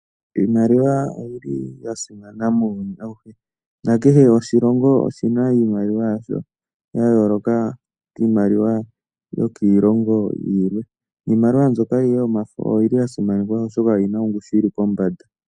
Iimaliwa oya simana muuyuni awuhe nakehe oshilongo oshina iimaliwa yayooloka kiimaliwa yokiilongo yilwe niimaliwa mbyoka yomafo oyili ya simana oshoka oyina ongushu yili pombanda.